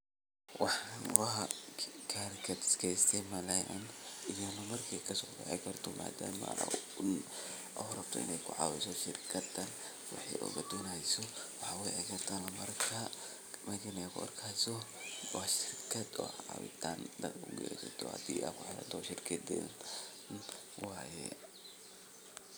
Hawshan waxay muhiim weyn ugu leedahay bulshada dhexdeeda sababtoo ah waxay kor u qaadaysaa nolol wadajir ah oo bulshada dhexdeeda ka hanaqaada. Marka nin haan ag taagan la tuso, waxa uu tilmaamayaa in uu ka qayb qaadanayo howlo muhiim u ah deegaanka sida uruurinta biyaha, ilaalinta nadaafadda, ama xataa hawlo dhaqan oo dhaqaalaha bulshada horumariya. Ninkaasi wuxuu astaan u yahay dadaal iyo is xilqaamid uu muwaadin u sameeyo bulshadiisa si loo gaaro nolol wanaagsan